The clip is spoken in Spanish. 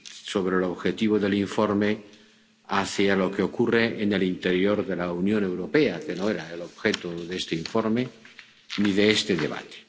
sobre el objetivo del informe hacia lo que ocurre en el interior de la Unión Europea, que no era el objeto de este informe ni de este debate.